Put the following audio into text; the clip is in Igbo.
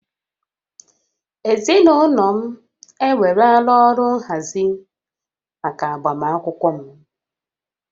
Ezinaụlọ m ewerela ọrụ nhazi maka agbamakwụkwọ m